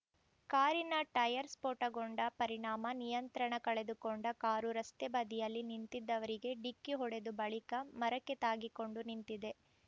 ಕಾರಿನ ಟೈರ್‌ ಸ್ಫೋಟಗೊಂಡ ಪರಿಣಾಮ ನಿಯಂತ್ರಣ ಕಳೆದುಕೊಂಡ ಕಾರು ರಸ್ತೆ ಬದಿಯಲ್ಲಿ ನಿಂತಿದ್ದವರಿಗೆ ಡಿಕ್ಕಿ ಹೊಡೆದು ಬಳಿಕ ಮರಕ್ಕೆ ತಾಗಿಕೊಂಡು ನಿಂತಿದೆ